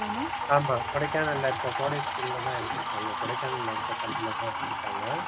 ஆமாம் கொடைக்கானல்ல இருக்கிற கோடை school லதா எடுத்து இருப்பாங்க கொடைக்கானல்ல இருக்குற பள்ளிலதா எடுத்திருப்பாங்க.